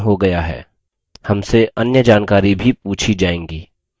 हमसे अन्य जानकारी भी पूछी जाएँगी